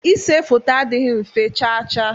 Ise foto adịghị mfe chaa chaa.